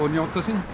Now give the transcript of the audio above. að njóta sín